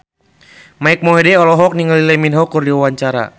Mike Mohede olohok ningali Lee Min Ho keur diwawancara